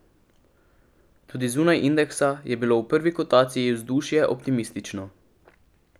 Tudi zunaj indeksa je bilo v prvi kotaciji vzdušje optimistično.